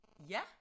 Ja